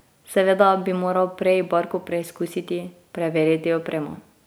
Seveda bi moral prej barko preizkusiti, preveriti opremo.